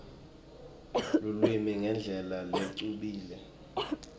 lulwimi ngendlela lecubile